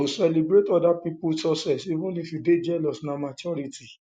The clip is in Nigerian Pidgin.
to celebrate oda pipo um success even if you dey jealous na um maturity um